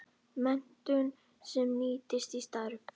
Menntun sem nýtist í starfi